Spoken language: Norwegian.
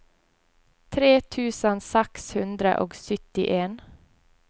tre tusen seks hundre og syttien